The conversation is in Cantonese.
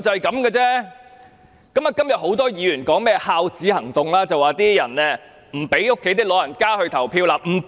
今天很多議員說甚麼"孝子行動"，說有些人不讓家中長者投票。